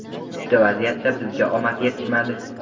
Uchta vaziyatda bizga omad yetishmadi.